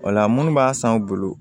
Wala munnu b'a san u bolo